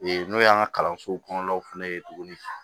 Ee n'o y'an ka kalansow kɔnɔnaw fɛnɛ ye tuguni